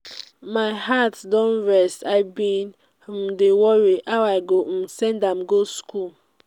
my heart don rest i bin um dey worry how i go um send am go school.